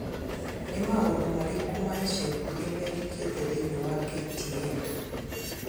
Nĩ maũndũ marĩkũ ma ica ikuhĩ mekĩkĩte thĩinĩ wa k.t.n